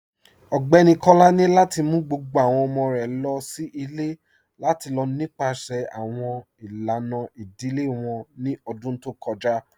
Ọgbẹni Kọ́lá ni lati mú gbogbo awọn ọmọ̀ rẹ̀ lọ sí ilẹ̀ lati lọ nípasẹ̀ awọn ilànà idílé wọn ní ọ̀dún tó kọja